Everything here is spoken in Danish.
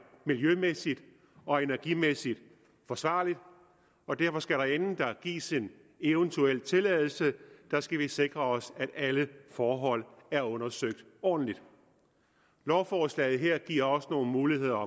miljømæssig og energimæssig forsvarligt og derfor skal vi inden der gives en eventuel tilladelse sikre os at alle forhold er undersøgt ordentligt lovforslaget her giver også nogle muligheder